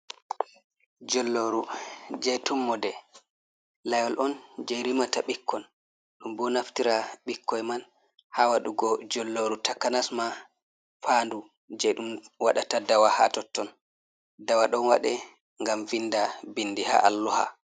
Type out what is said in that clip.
Jilloru je tummode layol on je rimata ɓikkon, ɗum bo naftira ɓikkoi man ha waɗugo jilloru takanas ma faundu je ɗum waɗata dawa ha totton, dawa ɗon waɗe ngam vinda bindi ha alluha.